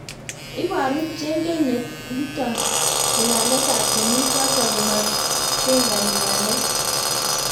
iboru chengeng neto ngulanet ab komi choto ko matengani waleet